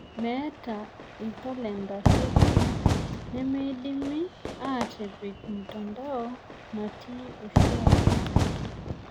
Meeta ina jkaklenda toki nemeidimi aatipik mtanadoa natii oshiake.